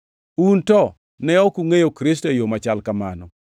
Un to, ne ok ungʼeyo Kristo e yo machal kamano.